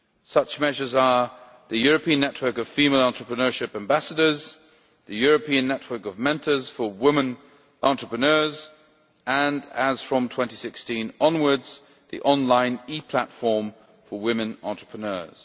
Such measures include the European Network of Female Entrepreneurship Ambassadors, the European Network of Mentors for Women Entrepreneurs and, as from 2016 onwards, the online e platform for women entrepreneurs.